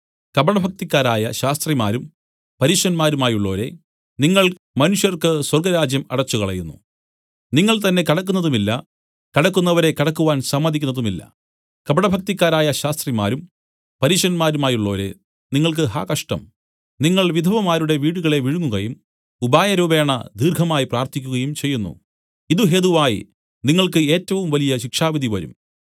കപടഭക്തിക്കാരായ ശാസ്ത്രിമാരും പരീശരുമായുള്ളവരേ നിങ്ങൾ മനുഷ്യർക്ക് സ്വർഗ്ഗരാജ്യം അടച്ചുകളയുന്നു നിങ്ങൾതന്നെ കടക്കുന്നതുമില്ല കടക്കുന്നവരെ കടക്കുവാൻ സമ്മതിക്കുന്നതുമില്ല കപടഭക്തിക്കാരായ ശാസ്ത്രിമാരും പരീശന്മാരുമായുള്ളോരേ നിങ്ങൾക്ക് ഹാ കഷ്ടം നിങ്ങൾ വിധവമാരുടെ വീടുകളെ വിഴുങ്ങുകയും ഉപായരൂപേണ ദീർഘമായി പ്രാർത്ഥിക്കുകയും ചെയ്യുന്നു ഇതു ഹേതുവായി നിങ്ങൾക്ക് ഏറ്റവും വലിയ ശിക്ഷാവിധി വരും